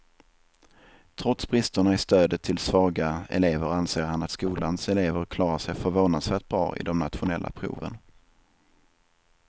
Trots bristerna i stödet till svaga elever anser han att skolans elever klarar sig förvånansvärt bra i de nationella proven.